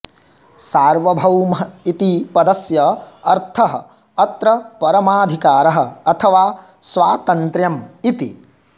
सार्वभौमः इति पदस्य अर्थः अत्र परमाधिकारः अथवा स्वातन्त्र्यम् इति